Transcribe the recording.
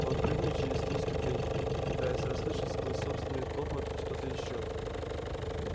он прыгнул через три ступеньки пытаясь расслышать сквозь собственный топот что-то ещё